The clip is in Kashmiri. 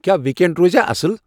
کیا ویک اینڈ روزِیاہ اصل ؟